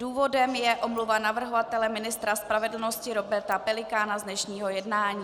Důvodem je omluva navrhovatele, ministra spravedlnosti Roberta Pelikána, z dnešního jednání.